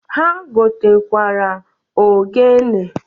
Ha gotakwara ogene.